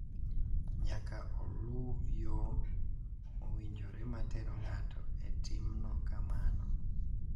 nyaka oluw yo mowinjore ma tero ng’ato e timo kamano.